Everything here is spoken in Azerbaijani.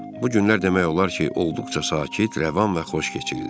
Bu günlər demək olar ki, olduqca sakit, rəvan və xoş keçirdi.